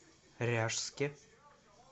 ряжске